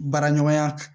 Baara ɲɔgɔnya